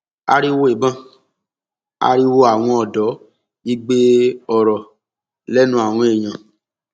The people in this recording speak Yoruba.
ariwo ìbọn ariwo àwọn ọdọ igbe ọrọ lẹnu àwọn èèyàn